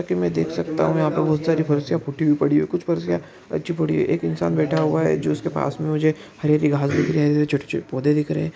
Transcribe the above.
जेसा की मे देख सकता हु यहा पे बहुत सारी फरसिया फूटी पड़ी है कुछ फरसिया अच्छी पड़ी है। एक इंसान बैठा हुआ है जो उसके पास मे मुझे हरी हरी घास दिख रही है छोटे छोटे पोधे दिख रहै है ।